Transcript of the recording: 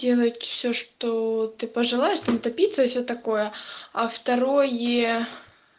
делать всё что ты пожелаешь там топиться и всё такое а второе